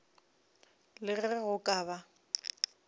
le ge go ka ba